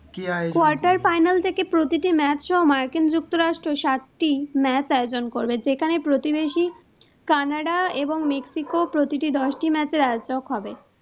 quarter final থেকে প্রতিটি match সহ মার্কিন যুক্তরাষ্ট্র সাতটি match আয়োজন করবে, যেখানে প্রতিবেশী Canada এবং Mexico প্রতিটি দশটি match এর আয়োজক হবে।